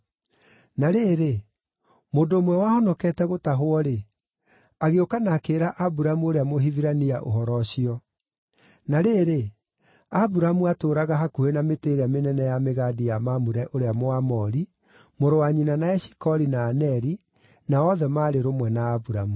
Na rĩrĩ, mũndũ ũmwe wahonokete gũtahwo-rĩ, agĩũka na akĩĩra Aburamu ũrĩa Mũhibirania ũhoro ũcio. Na rĩrĩ, Aburamu aatũũraga hakuhĩ na mĩtĩ ĩrĩa mĩnene ya mĩgandi ya Mamure ũrĩa Mũamori, mũrũ wa nyina na Eshikoli na Aneri, na othe maarĩ rũmwe na Aburamu.